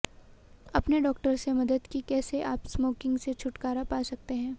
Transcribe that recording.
अपने डॉक्टर्स से मदद कि कैसे आप स्मोकिंग से छुटकारा पा सकते है